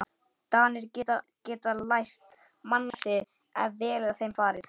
Danir geta lært mannasiði, ef vel er að þeim farið.